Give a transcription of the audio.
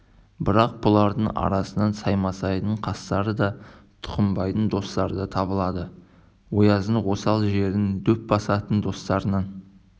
бірақ бұлардың арасынан саймасайдың қастары да тұқымбайдың достары да табылады ояздың осал жерін дөп басатын достарынан